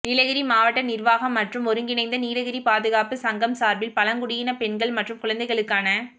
நீலகிரி மாவட்ட நிா்வாகம் மற்றும் ஒருங்கிணைந்த நீலகிரி பாதுகாப்பு சங்கம் சாா்பில் பழங்குடியின பெண்கள் மற்றும் குழந்தைகளுக்கான